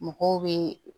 Mɔgɔw bɛ